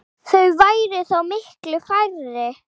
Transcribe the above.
Þau væru þá miklu færri.